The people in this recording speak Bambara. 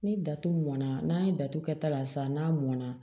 Ni datugulan n'a ye datugu kɛta la sisan n'a mɔn na